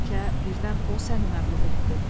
Bəlkə birdən o səni məğlub etdi.